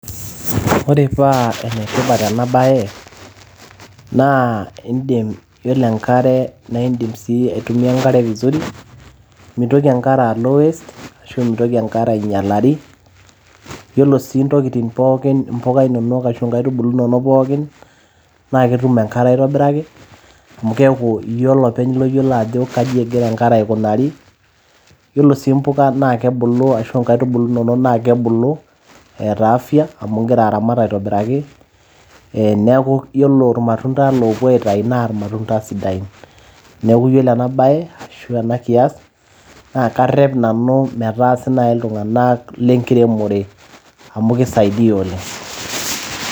Ore paa enetipat ena baye naa indim, yiolo enkare naa indim sii aitumia enkare vizuri mintoki enkare alo waste ashu mitoki enkare ainyialari yiolo sii intokitin pookin impuka inonok ashu inkaitubulu inonok pookin naa ketum enkare aitobiraki amu keeku iyie olopeny loyiolo ajo kaji egira aikunari yiolo sii impuka naa kebulu ashu inkaitubulu inonok naa kebulu eeta afya amu ingira aramat aitobiraki ee neeku yiolo irmatunda loopuo aitai naa irmatunda sidain, neeku yiolo ena baye ashu ena kias naa karrep nanu metaasi naaji iltung'anak lenkiremore amu kisaidia oleng.